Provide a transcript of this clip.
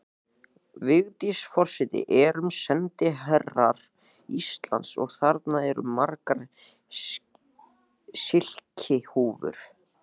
Vigdís forseti erum sendiherrar Íslands og þarna eru margar silkihúfur.